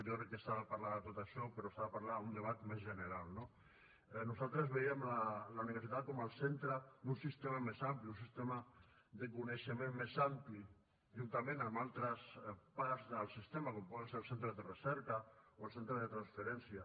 jo crec que s’ha de parlar de tot això però s’ha de parlar en un debat més general no nosaltres veiem la universitat com el centre d’un sistema més ampli un sistema de coneixement més ampli juntament amb altres parts del sistema com poden ser els centres de recerca o el centre de transferència